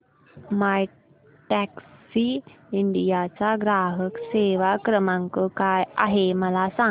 My Taxi India चा ग्राहक सेवा क्रमांक काय आहे मला सांग